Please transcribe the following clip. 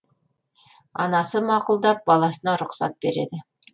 анасы мақұлдап баласына рұқсат береді